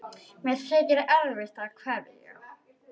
Mér þykir erfitt að kveðja.